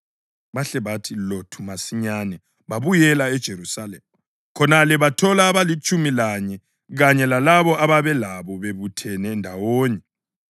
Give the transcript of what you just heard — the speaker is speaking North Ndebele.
Bahle bathi lothu masinyane babuyela eJerusalema. Khonale bathola abalitshumi lanye kanye lalabo ababelabo bebuthene ndawonye